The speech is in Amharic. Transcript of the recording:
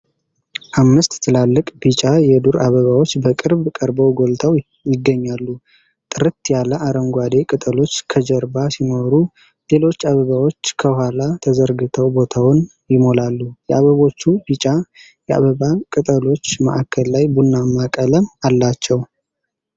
አምስት ትላልቅ ቢጫ የዱር አበባዎች በቅርብ ቀርበው ጎልተው ይገኛሉ። ጥርት ያለ አረንጓዴ ቅጠሎች ከጀርባ ሲኖሩ፣ ሌሎች አበባዎች ከኋላ ተዘርግተው ቦታውን ይሞላሉ። የአበባዎቹ ቢጫ የአበባ ቅጠሎች ማእከል ላይ ቡናማ ቀለም አላቸው።